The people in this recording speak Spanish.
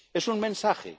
Es un mensaje.